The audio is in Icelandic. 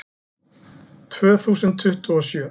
Tvö þúsund tuttugu og sjö